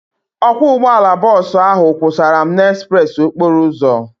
Ọkwọ ụgbọala bọọsu ahu kwụsara m n'ezpreesi okporo ụzọ